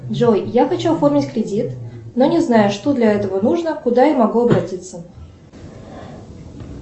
джой я хочу оформить кредит но не знаю что для этого нужно куда я могу обратиться